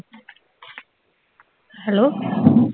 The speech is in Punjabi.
ਹੈਲੋ